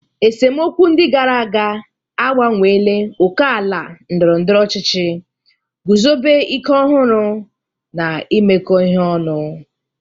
Esemokwu ndị gara aga agbanweela ókèala ndọrọ ndọrọ ọchịchị, guzobe ike ọhụrụ, na imekọ ihe ọnụ.